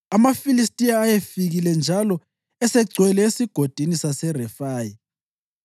AmaFilistiya ayesefikile njalo esegcwele eSigodini saseRefayi,